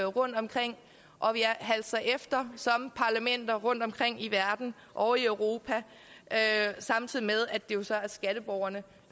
rundtomkring og vi halser efter som parlamenter rundtomkring i verden og i europa samtidig med at det jo så er skatteborgerne